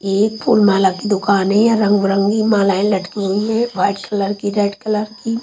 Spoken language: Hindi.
ये एक फूलमाला की दूकान है यहाँ रंग बिरंगी मालाये लटकी हुई है ये एक वाइट कलर की रेड कलर की --